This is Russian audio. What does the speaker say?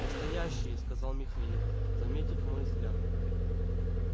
настоящие сказал михаил заметив мой взгляд